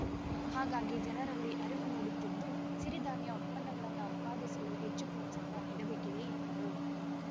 ಹಾಗಾಗಿ ಜನರಲ್ಲಿ ಅರಿವು ಮೂಡುತ್ತಿದ್ದು ಸಿರಿಧಾನ್ಯ ಉತ್ಪನ್ನಗಳನ್ನು ಉತ್ಪಾದಿಸಲು ಹೆಚ್ಚು ಪ್ರೋತ್ಸಾಹ ನೀಡಬೇಕಿದೆ ಎಂದರು